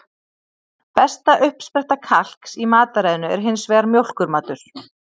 Besta uppspretta kalks í mataræðinu er hins vegar mjólkurmatur.